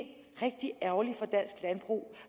rigtig ærgerligt for dansk landbrug